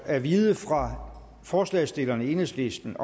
at vide fra forslagsstillerne enhedslisten